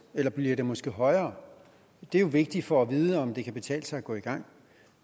eller bliver det måske højere det er jo vigtigt for at vide om det kan betale sig at gå i gang